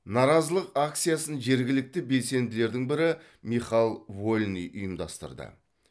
наразылық акциясын жергілікті белсенділердің бірі михал вольный ұйымдастырды